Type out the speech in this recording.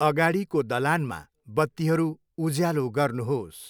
अगाडिको दलानमा बत्तीहरू उज्यालो गर्नुहोस्।